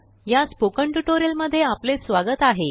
या स्पोकनट्यूटोरियल मध्ये आपलेस्वागत आहे